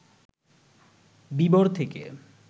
বিবর থেকে